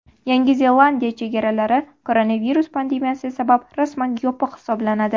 Yangi Zelandiya chegaralari koronavirus pandemiyasi sabab rasman yopiq hisoblanadi.